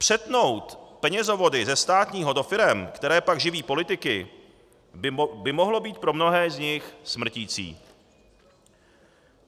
Přetnout penězovody ze státního do firem, které pak živí politiky, by mohlo být pro mnohé z nich smrtící.